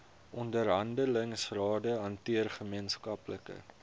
onderhandelingsrade hanteer gemeenskaplike